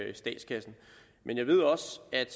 i statskassen men jeg ved også at